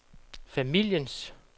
familiens